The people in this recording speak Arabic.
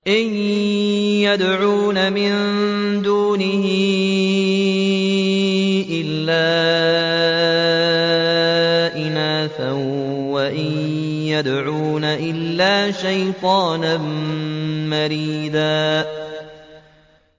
إِن يَدْعُونَ مِن دُونِهِ إِلَّا إِنَاثًا وَإِن يَدْعُونَ إِلَّا شَيْطَانًا مَّرِيدًا